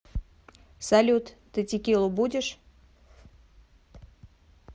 салют ты текилу будешь